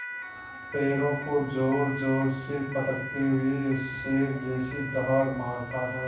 पैरों को ज़ोरज़ोर से पटकते हुए शेर जैसी दहाड़ मारता है